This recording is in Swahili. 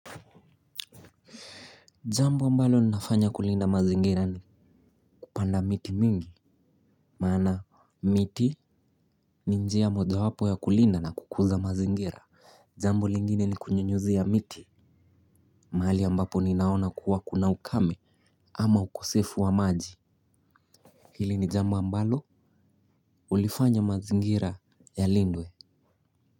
Jambo ambalo ninafanya kulinda mazingira ni kupanda miti mingi. Maana miti ni njia mojawapo ya kulinda na kukuza mazingira. Jambo lingine ni kunyunyuzia miti. Mahali ambapo ninaona kuwa kuna ukame ama ukosefu wa maji hili ni jambo ambalo ulifanya mazingira yalindwe.